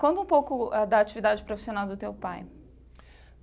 Conta um pouco da atividade profissional do teu pai.